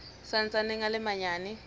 sa ntsaneng a le manyane